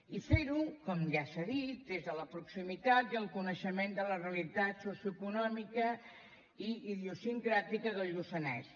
i fer ho com ja s’ha dit des de la proximitat i el coneixement de la realitat socioeconòmica i idiosincràtica del lluçanès